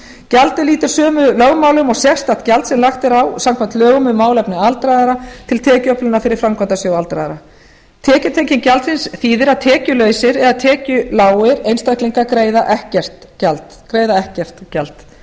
gjaldið lýtur sömu lögmálum og sérstakt gjald sem lagt er á samkvæmt lögum um málefni aldraðra til tekjuöflunar fyrir framkvæmdasjóð aldraðra tekjutenging gjaldsins þýðir að tekjulausir eða tekjulágir einstaklingar greiða ekkert gjald